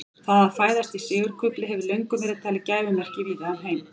það að fæðast í sigurkufli hefur löngum verið talið gæfumerki víða um heim